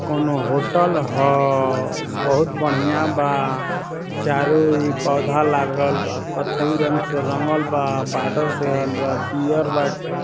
कोनो होटल है बहुत बढ़िया बा चारो इ पौधा लागल बा कत्थई रंग से रंगल बा बॉर्डर पियर बाटे --